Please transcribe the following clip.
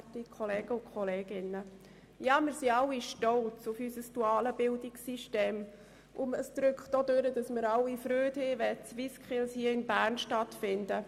Es ist offensichtlich, dass alle Freude daran haben, wenn die SwissSkills hier in Bern stattfinden.